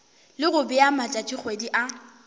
le go bea matšatšikgwedi a